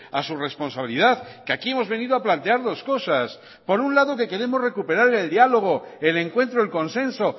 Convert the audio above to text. a su responsabilidad que aquí hemos venido a plantear dos cosas por un lado que queremos recuperar el diálogo el encuentro el consenso